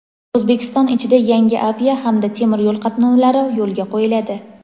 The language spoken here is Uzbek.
O‘zbekiston ichida yangi avia hamda temir yo‘l qatnovlari yo‘lga qo‘yiladi.